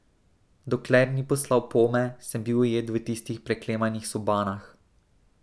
Dokler ni poslal pome, sem bil ujet v tistih preklemanih sobanah.